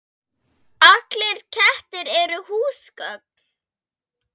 Allir kettir eru húsgögn